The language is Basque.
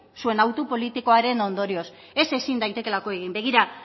zuen autu politikoaren ondorioz ez ezin daitekeelako egin begira